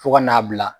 Fo ka n'a bila